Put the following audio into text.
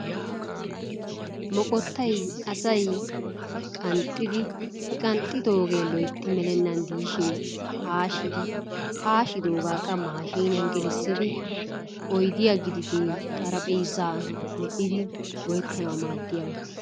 Moqqottay asay qanxxidi he qanxxiddogee loytti melenaan de'ishin haashidi haashiddogaa qa maashiniyaan gelissiidi oydiya gididee xarphpheezaa medhdhidi go"ettanawu maadiyaba.